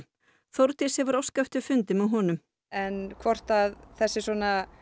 Þórdís hefur óskað eftir fundi með honum en hvort svona